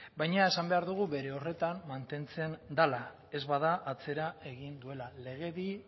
baina esan behar dugu bere horretan mantentzen dela ez bada atzera egin duela legedi